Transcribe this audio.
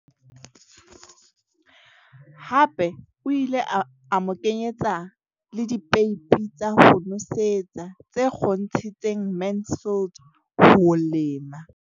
Hape o ile a mo kenyetsa le dipeipi tsa ho nosetsa tse kgontshitseng Mansfield ho lema.